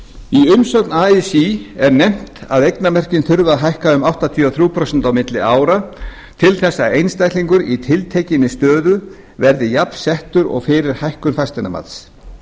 í umsögn así er nefnt að eignamörkin þurfi að hækka um áttatíu og þrjú prósent á milli ára til þess að einstaklingar í tiltekinni stöðu verði jafnsettir og fyrir hækkun fasteignamats